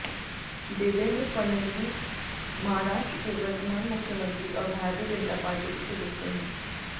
देवेंद्र फडणवीस महाराष्ट्र के वर्तमान मुख्यमंत्री और भारतीय जनता पार्टी के सदस्य हैं